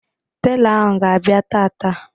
Telọ ahụ ga-abịa taata